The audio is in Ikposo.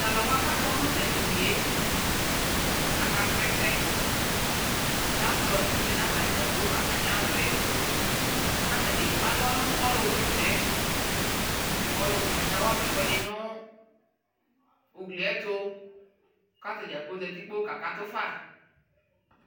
Tʋ alʋwa kʋ akɔ nʋtʋ edini yɛ, aka srɔ ɛsɛLaptɔp lɛ nʋ atadza kplo atamι alɔ yɛ kʋ atanι ekpe alɔnʋ ɔlʋ wa ɛsɛ yɛ, kʋ ɔlʋ wa ɛsɛ yɛ kawa ma ɛkuɛdι nʋ ugli yɛ ɛtʋ, kʋ atadza kplo zati kpoo kaakatʋ fa